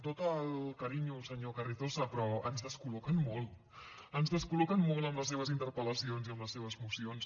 tot el carinyo senyor carrizosa però ens descol·loquen molt ens descol·loquen molt amb les seves interpel·lacions i amb les seves mocions